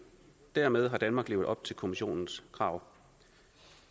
dermed har danmark levet op til kommissionens krav